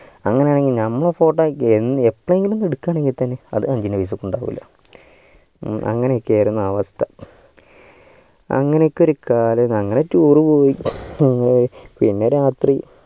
അങ്ങനെ ആണെങ്കിൽ നമ്മ photo യ്ക്ക് എന്ന് എപ്പെങ്കിലും എടുക്കാണെങ്കിൽ തന്നെ അത് ഇ life ക്ക് ഉണ്ടാവൂല അന്ഗനൊക്കെ ആയിരുന്നു അവസ്ഥ അങ്ങനെ ഒക്കെ ഒരു കാലം അങ്ങനെ tour പോയി പിന്നെ രാത്രി